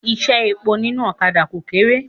Iṣẹ́ epo nínú ọ̀kadà kò kéré.